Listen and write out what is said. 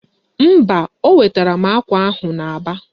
Mba, o wetara m akwa ahụ n'Aba